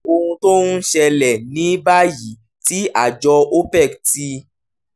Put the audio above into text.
ohun tó ń ṣẹlẹ̀: ní báyìí tí àjọ opec ti